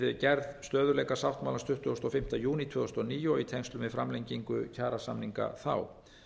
við gerð stöðugleikasáttmálans tuttugasta og fimmta júní tvö þúsund og níu og í tengslum við framlengingu kjarasamninga þá